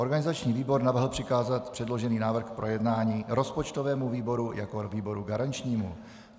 Organizační výbor navrhl přikázat předložený návrh k projednání rozpočtovému výboru jako výboru garančnímu.